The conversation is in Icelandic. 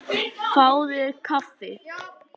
Fáðu þér kaffi.